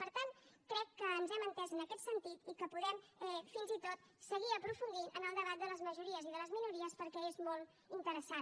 per tant crec que ens hem entès en aquest sentit i que podem fins i tot seguir aprofundint en el debat de les majories i de les minories perquè és molt interessant